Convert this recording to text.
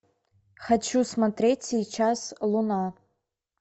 хочу смотреть сейчас луна